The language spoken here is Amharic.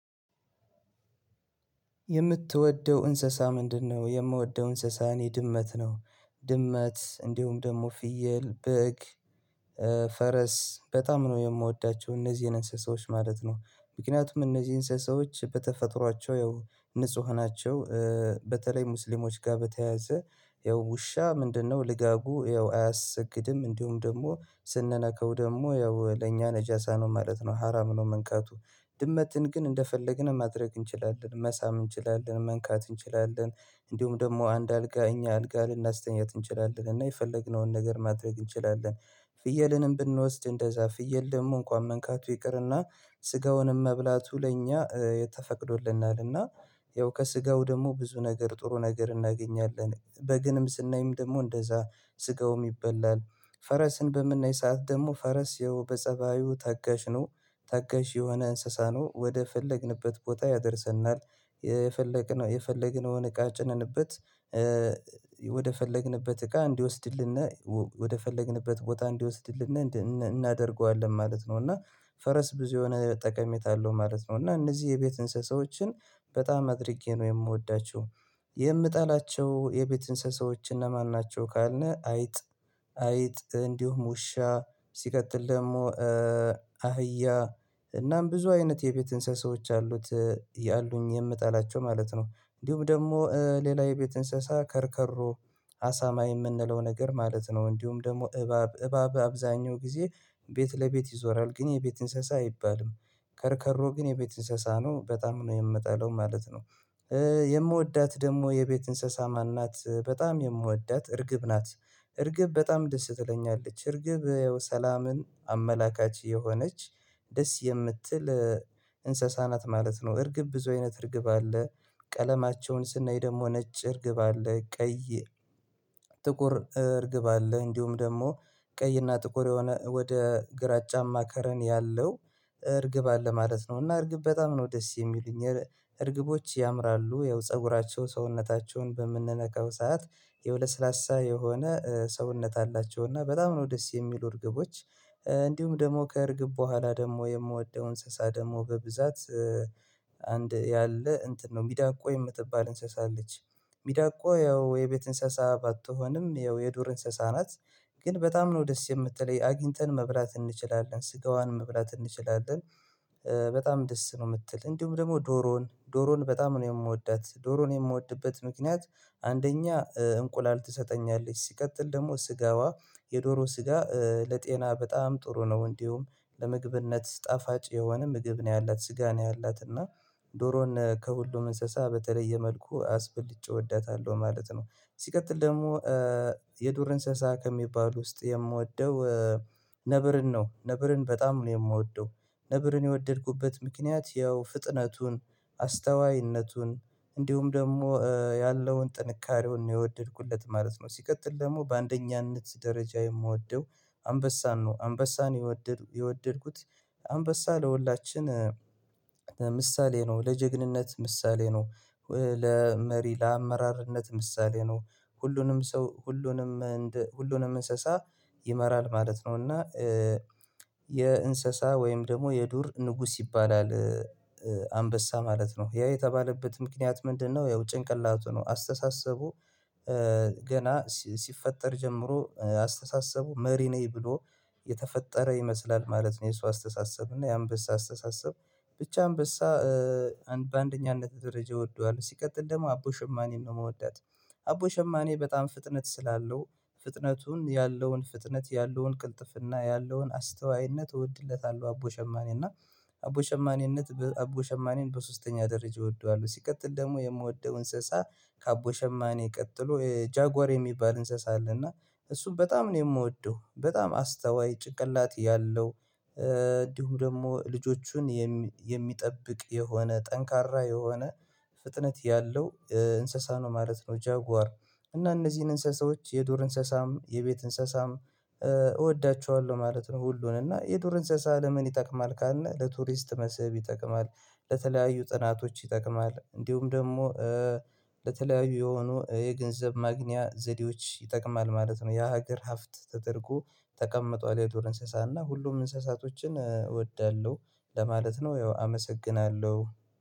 የምትወደው እንስሳ ምንድነው? የምወደው እንስሳ የድመት ነው ድመት እንዲሁም ደግሞ ፍየል በግ ፈረስ በጣም ነው የምወዳቸው እነዚህን እንስሳዎች ማለት ነው። ምክንያቱም እነዚህ እንስሳዎች በተፈጥሯቸው ያው ንጹህ ናቸው። በተለይ ሙስሊሞች ጋር በተያያዘ ያው ውሻ ምንድነው ልጋጉ ያው አያሰግድም እንዲሁም ደግሞ ስንነካው ደግሞ ያው ለእኛ ነጃሳ ነው ማለት ነው ሀራም ነው መንካቱ። ድመትን ግን እንደፈለግን ማድረግ እንችላለን መሳም እንችላለን መንካት እንችላለን። እንዲሁም ደግሞ አንድ አልጋ እኛ አልጋ ልናስተኝት እንችላለን እና የፈለግነውን ነገር ማድረግ እንችላለን። ፍየልንም ብንወስድ እንደዛ ፍየል ደግሞ እንኳን መንካቱ ይቅርና ስጋውንም መብላቱ ለእኛ የተፈቅዶልናል እና። ያው ከስጋው ደግሞ ብዙ ነገር ጥሩ ነገር እናገኛለን። በግንም ስናይም ደግሞ እንደዛ ስጋውም ይበላል። ፈረስን በምናይ ሰዓት ደግሞ ፈረስ ይኸው በጸባዩ ተጋሽ ነው ታጋሽ የሆነ እንስሳ ነው ወደ ፈለግንበት ቦታ ያደርሰናል። የፈለግነው የፈለግነውን እቃ ጭነንበት ወደ ፈለግንበት እቃ እንዲወስድልንና ወደፈለግንበት ቦታ እንዲወስድልን እናደርገዋለን ማለት ነው። እና ፈረስ ብዙ የሆነ ጠቀሜታ አለው ማለት ነው። እና እነዚህ የቤት እንስሳዎችን በጣም አድርጌ ነው የምወዳቸው። የምጠላቸው የቤት እንስሳዎች እነማን ናቸው? ካልነህ አይጥ። አይጥ እንዲሁም ውሻ ሲቀጥል ደግሞ አህያ እናም ብዙ አይነት የቤት እንስሳዎች አሉት። ያሉኝ የምጠላቸው ማለት ነው እንዲሁም ደግሞ ሌላ የቤት እንስሳ ከርከሮ አሳማ የምንለው ነገር ማለት ነው። እንዲሁም ደግሞ እባብ እባብ በአብዛኛው ጊዜ ቤት ለቤት ይዞራል ግን የቤት እንስሳ አይባልም። ከርከሮ ግን የቤት እንስሳ ነው በጣም ነው የምጠለው ማለት ነው። የምወዳት ደግሞ የቤት እንስሳ ማን ናት? በጣም የምወዳት እርግብ ናት። እርግብ በጣም ደስ ትለኛለች እርግብ ያው ሰላምን አመላካች የሆነች ደስ የምትል እንስሳናት ማለት ነው። እርግብ ብዙ አይነት እርግብ አለ። ቀለማቸውን ስናይ ደግሞ ነጭ እርግብ አለ ቀይ ጥቁር እርግብ አለ እንዲሁም ደግሞ ቀይና ጥቁር የሆነ ወደ ግራጫማ ከለር ያለው እርግብ አለ ማለት ነው። እና እርግብ በጣም ነው ደስ የሚሉኝ። እርግቦች ያምራሉ ያው ፀጉራቸው ሰውነታቸውን በምንነካው ሰዓት ያው ለስላሳ የሆነ ሰውነት አላቸው እና በጣም ነው ደስ የሚሉ እርግቦች። እንዲሁም ደግሞ ከእርግብ በኋላ ደግሞ የምወደው እንስሳ ደግሞ በብዛት አንድ ያለ እንትን ነው ሚዳቋ የምትባል እንስሳ አለች። ሚዳቋ ያው የቤት እንስሳ ባትሆንም ያው የዱር እንስሳ ናት። ግን በጣም ነው ደስ የምትለኝ አግኝተን መብላት እንችላለን ስጋዋን መብላት እንችላለን። በጣም ደስ ነው የምትለኝ እንዲሁም ደግሞ ዶሮ ዶሮን በጣም ነው የምወዳት ዶሮን የምወድበት ምክንያት። አንደኛ እንቁላል ትሰጠኛለች ሲቀጥል ደግሞ ስጋዋ የዶሮ ስጋ ለጤና በጣም ጥሩ ነው። እንዲሁም ለምግብነት ጣፋጭ የሆነ ምግብ ነው ያላት ስጋ ነው ያላትና። ዶሮን ከሁሉም እንስሳ በተለዬ መልኩ አስበልጬ እወዳታለው ማለት ነው። ሲቀጥል ደግሞ የድር እንስሳ ከሚባሉት ውስጥ የምወደው ነብርን ነው ነብርን በጣም ነው የምወደው። ነብርን የወደድኩበት ምክንያት ያው ፍጥነቱን አስተዋይነቱን እንዲሁም ደግሞ ያለውን ጥንካሬውን ነው የወደድኩለት ማለት ነው። ሲቀጥል ደግሞ በአንደኛነት ደረጃ የምወደው አንበሳን ነው። አንበሳን የወደድኩት አንበሳ ለሁላችን ለምሳሌ ነው ለጀግንነት ምሳሌ ነው። ለመሪ ለአመራርነት ምሳሌ ነው። ሁሉንም ሰው ሁሉንም እንስሳ ይመራል ማለት ነው። እና የእንስሳ ወይም ደግሞ የዱር ንጉስ ይባላል። አንበሳ ማለት ነው ያ የተባለበት ምክንያት ምንድነው? ያው ጭንቅላቱ ነው አስተሳሰቡ ገና ሲፈጠር ጀምሮ አስተሳሰቡ መሪ ነኝ ብሎ የተፈጠረ ይመስላል ማለት ነው። የእሱ አስተሳሰብ እና የአንበሳ አስተሳሰብ ብቻ አንበሳ አንድ በአንደኛነት ደረጃ እወደዋለው። ሲቀጥል ደግሞ አቦ ሸማኔን ነው የምወዳት። አቦ ሸማኔ በጣም ፍጥነት ስላለው ፍጥነቱን ያለውን ፍጥነት ያለውን ቅልጥፍና ያለውን አስተዋይነት እወድለታለሁ አቦ ሸማኔ እና አቦ ሸማኔነት አቦ ሸማኔን በሶስተኛ ደረጃ እወደዋለው። ሲቀጥል ደግሞ የምወደው እንስሳ ከአቦ ሸማኔ ቀጥሎ ጃጓር የሚባል እንስሳ አለና እሱም በጣም ነው የምወደው። በጣም አስተዋይ ጭቅላት ያለው እንዲሁ ደግሞ ልጆቹን የሚጠብቅ የሆነ ጠንካራ የሆነ ፍጥነት ያለው እንስሳ ነው ማለት ነው። ጃጓር እና እነዚህን እንስሳዎች የዱር እንስሳም የቤት እንስሳም እወዳችኋለሁ ማለት ነው። ሁሉንም እና የዱር እንስሳት ለምን ይጠቅማል ካልን ለቱሪስት መስህብ ይጠቅማል። ለተለያዩ ጥናቶች ይጠቅማል እንዲሁም ደግሞ ለተለያዩ የሆኑ የገንዘብ ማግኛ ዘዴዎች ይጠቅማል ማለት ነው። የሀገር ሀብት ተደርጎ ተቀምጧል የዶር እንስሳና ሁሉም እንስሳቶችን እወዳለሁ። ለማለት ነው ያው አመሰግናለሁ